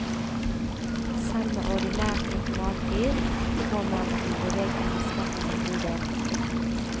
Selv med ordinært automatgir må man jo bevege girspaken en god del.